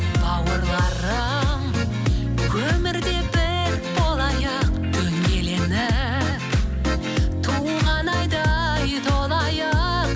бауырларым өмірде бір болайық дөңгеленіп туған айдай толайық